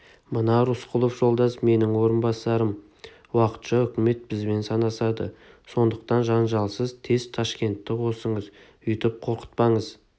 мына рысқұлов жолдас менің орынбасарым уақытша үкімет бізбен санасады сондықтан жанжалсыз тез ташкентті қосыңыз өйтіп қорқытпаңыз